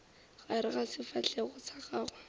gare ga sefahlego sa gago